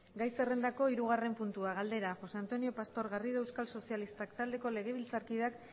gai zerrendako hirugarren puntua galdera josé antonio pastor garrido euskal sozialistak taldeko legebiltzarkideak